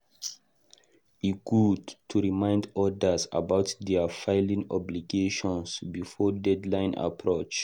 E good to remind others about their filing obligations before deadline approach.